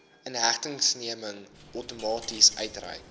inhegtenisneming outomaties uitgereik